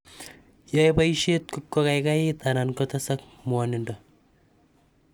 Yae poaishet kokaikait ana kotesak mwanindo.